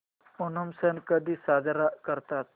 ओणम सण कधी साजरा करतात